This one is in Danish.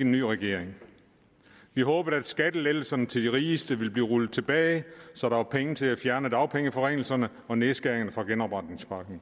en ny regering vi håbede at skattelettelserne til de rigeste ville blive rullet tilbage så der var penge til at fjerne dagpengeforringelserne og nedskæringerne fra genopretningspakken